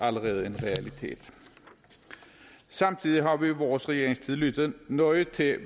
allerede en realitet samtidig har vi i vores regeringstid lyttet nøje til